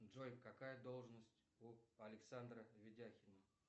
джой какая должность у александра ведяхина